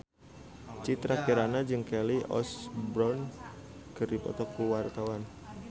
Citra Kirana jeung Kelly Osbourne keur dipoto ku wartawan